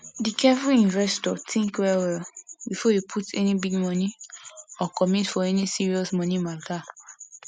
the careful investor think well well before e put any big money or commit for any serious money matter